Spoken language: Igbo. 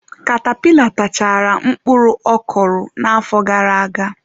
Katapila tachaara mkpụrụ ọ kụrụ n'afọ gara-aga.